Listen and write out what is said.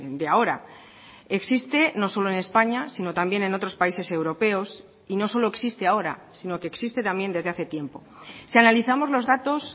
de ahora existe no solo en españa sino también en otros países europeos y no solo existe ahora sino que existe también desde hace tiempo si analizamos los datos